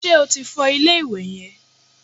Ṣé o ti fọ ilé-ìwẹ̀ yẹn?